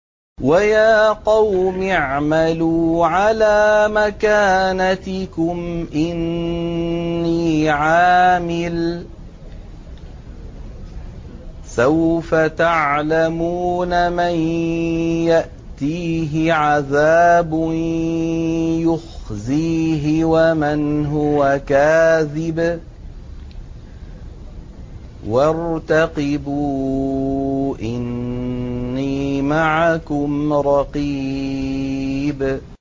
وَيَا قَوْمِ اعْمَلُوا عَلَىٰ مَكَانَتِكُمْ إِنِّي عَامِلٌ ۖ سَوْفَ تَعْلَمُونَ مَن يَأْتِيهِ عَذَابٌ يُخْزِيهِ وَمَنْ هُوَ كَاذِبٌ ۖ وَارْتَقِبُوا إِنِّي مَعَكُمْ رَقِيبٌ